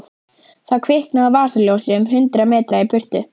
Það kviknaði á vasaljósi um hundrað metra í burtu.